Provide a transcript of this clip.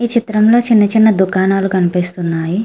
ఈ చిత్రంలో చిన్న చిన్న దుకాణాలు కనిపిస్తున్నాయి.